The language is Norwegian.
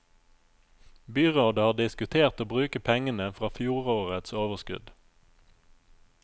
Byrådet har diskutert å bruke pengene fra fjorårets overskudd.